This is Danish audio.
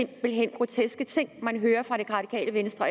det er groteske ting man hører fra det radikale venstre